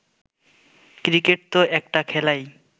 cricket তো একটা খেলাই